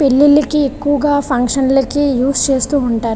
పెళ్లిళ్ళకి ఎక్కువగ ఫంక్షన్లకి యూస్ చేస్తూ ఉంటారు.